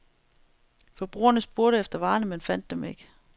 Forbrugerne spurgte efter varerne, men fandt dem ikke.